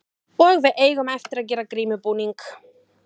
Og við eigum eftir að gera grímubúning.